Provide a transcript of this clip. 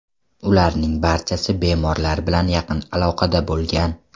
Ularning barchasi bemorlar bilan yaqin aloqada bo‘lgan.